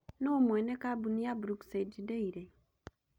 Nũũ mwene kambuni ya Brookside Dairy?